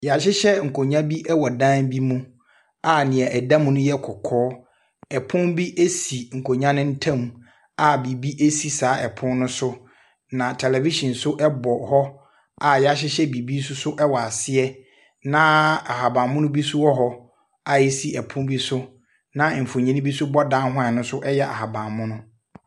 Y'ahyehyɛ nkonwa bi ɛwɔ dan bi mu a nea ɛda mu no yɛ kɔkɔɔ. Ɛpono bi esi nkonwa no ntam a biribi esi saa ɛpono no so. Na tɛlɛvihyin so ɛbɔ hɔ a y'ahyehyɛ biribi so ɛwɔ aseɛ. Na ahabanmono bi nso wɔhɔ a esi ɛpono bi so, na mfoni bi nso bɔ dan ne ho a ɛno nso yɛ ahabanmono.